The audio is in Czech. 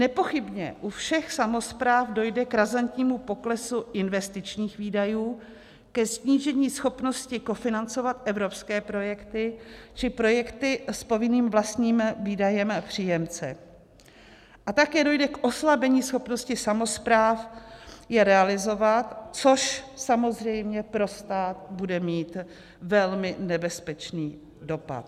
Nepochybně u všech samospráv dojde k razantnímu poklesu investičních výdajů, ke snížení schopnosti kofinancovat evropské projekty či projekty s povinným vlastním výdajem příjemce a také dojde k oslabení schopnosti samospráv je realizovat, což samozřejmě pro stát bude mít velmi nebezpečný dopad.